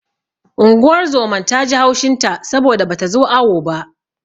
Unguwar zoman ta ji haushin ta saboda bata zo awo ba.